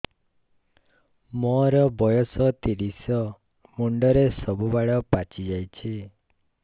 ମୋର ବୟସ ତିରିଶ ମୁଣ୍ଡରେ ସବୁ ବାଳ ପାଚିଯାଇଛି